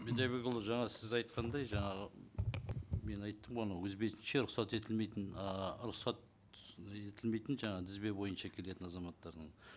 бидайбекұлы жаңа сіз айтқандай жаңағы мен айттым ғой анау өз бетінше рұқсат етілмейтін ыыы рұқсат етілмейтін жаңа тізбе бойынша келетін азаматтардың